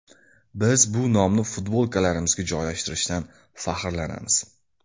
Biz bu nomni futbolkalarimizga joylashtirishdan faxrlanamiz.